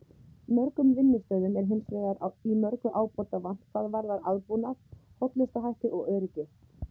Mörgum vinnustöðum er hins vegar í mörgu ábótavant hvað varðar aðbúnað, hollustuhætti og öryggi.